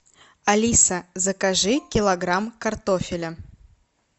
алиса закажи килограмм картофеля